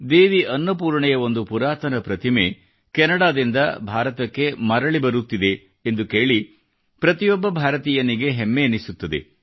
ದೇವಿ ಅನ್ನಪೂರ್ಣೆಯ ಒಂದು ಪುರಾತನ ಪ್ರತಿಮೆ ಕೆನಡಾದಿಂದ ಭಾರತಕ್ಕೆ ಮರಳಿ ಬರುತ್ತಿದೆ ಎಂದು ಕೇಳಿ ಪ್ರತಿಯೊಬ್ಬ ಭಾರತೀಯನಿಗೆ ಹೆಮ್ಮೆಯೆನಿಸುತ್ತದೆ